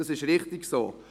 Das ist richtig so.